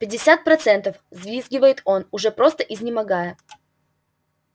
пятьдесят процентов взвизгивает он уже просто изнемогая